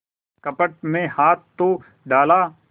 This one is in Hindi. कपट में हाथ तो डाला